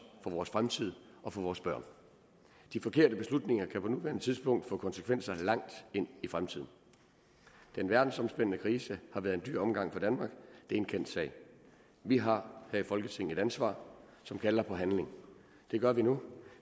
for vores fremtid og for vores børn de forkerte beslutninger kan på nuværende tidspunkt få konsekvenser langt ind i fremtiden den verdensomspændende krise har været en dyr omgang for danmark det er en kendt sag vi har her i folketinget et ansvar som kalder på handling det gør vi nu